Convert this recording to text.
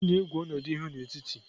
Onye na-egwu ọnọdụ ihu n'etiti?